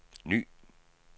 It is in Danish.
ny